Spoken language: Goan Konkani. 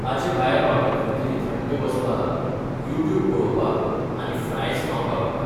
ताचे भायर म्हाका खंयतरी थंड बसपाक, यूट्यूब पळोवपाक आनी फ्रायज खावंक आवडटा.